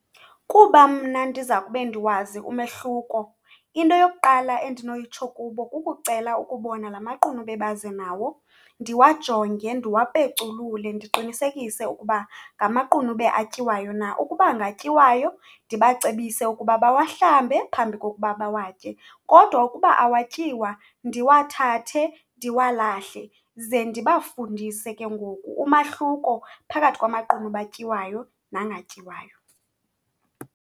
Kuba mna ndiza kube ndiwazi umehluko, into yokuqala endinoyitsho kubo kukucela ukubona la maqunube baze nawo, ndiwajonge ndiwapeculule ndiqinisekise ukuba ngamaqunube atyiwayo na. Ukuba ngatyiwayo ndibacebise ukuba bawahlambe phambi kokuba bawatye, kodwa ukuba awatyiwa ndiwathathe ndiwalahle ze ndibafundise ke ngoku umahluko phakathi kwamaqunube atyiwayo nangatyiwayo.